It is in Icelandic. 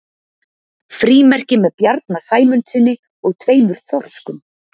frímerki með bjarna sæmundssyni og tveimur þorskum